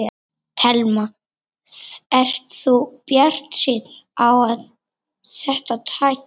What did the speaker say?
Telma: Ert þú bjartsýnn á að þetta takist?